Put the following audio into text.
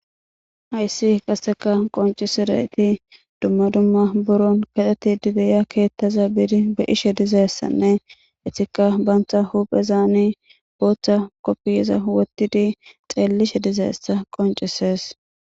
Hayssi qasseka qoncisizayti duma duma biron kexxetidi de'iya keththaza bidi be'ishe dizaysane etika banita huphezani Botta kufiyeza wottidi xellishe dizayssa qoncises.